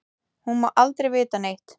Hún má aldrei vita neitt.